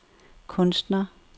kunstner